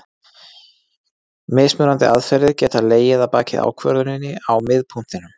Mismunandi aðferðir geta legið að baki ákvörðuninni á miðpunktinum.